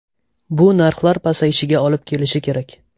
Bu narxlar pasayishiga olib kelishi kerak.